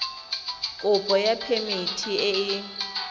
kopo ya phemiti e e